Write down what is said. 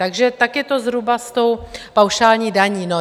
Takže tak je to zhruba s tou paušální daní.